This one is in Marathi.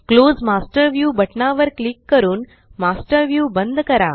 क्लोज मास्टर व्ह्यू बटना वर क्लिक करून मास्टर व्ह्यू बंद करा